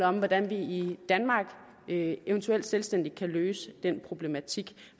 om hvordan vi i danmark eventuelt selvstændigt kan løse den problematik